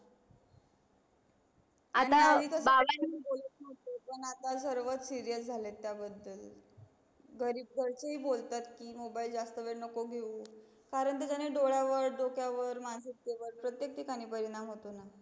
आता बाबाणी घरी कस कोणी बोलत नहोते पण आता सर्व serious झाले त्या बदल घरी घरचे ही बोलतात की mobile जास्त वेळ नको घेऊ कारण ते की नाही डोळ्या वर डोक्या वर मानसिकते वर प्रतेक ठिकाणी परिणाम होतो णा